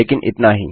लेकिन इतना ही